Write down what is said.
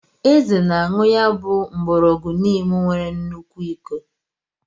Eze na-a añu ya bu ogu ngborogu Neem nwere nnukwu iko.